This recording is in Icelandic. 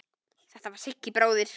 Þetta var Siggi bróðir.